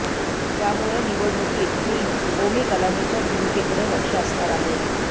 त्यामुळे निवडणुकीत टीम ओमी कलानीच्या भूमिकेकडे लक्ष असणार आहे